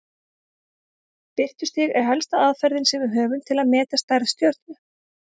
Birtustig er helsta aðferðin sem við höfum til að meta stærð stjörnu.